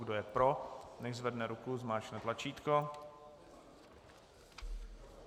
Kdo je pro, nechť zvedne ruku, zmáčkne tlačítko.